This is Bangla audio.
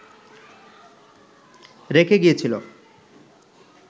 রেখে গিয়েছিল